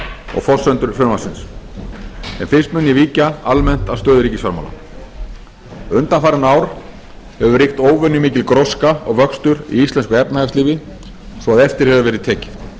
og forsendur frumvarpsins en fyrst mun ég víkja almennt að stöðu ríkisfjármála undanfarin ár hefur ríkt óvenjumikil gróska og vöxtur í íslensku efnahagslífi svo að eftir hefur verið tekið